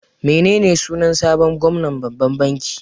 Menene sunan sabon gwamnan babban banki?